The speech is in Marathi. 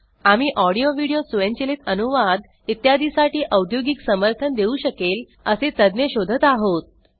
आम्ही ऑडिओ व्हिडिओ स्वयंचलित अनुवाद इत्यादी साठी औद्योगिक समर्थन देऊ शकेल असे तज्ञ शोधत आहोत